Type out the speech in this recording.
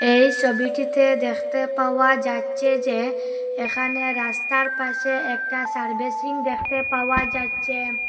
এই সবিটিতে দেখতে পাওয়া যাচ্ছে যে এখানে রাস্তার পাশে একটা সার্ভিসিং দেখতে পাওয়া যাচ্চে।